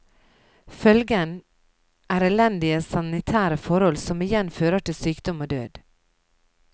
Følgen er elendige sanitære forhold som igjen fører til sykdom og død.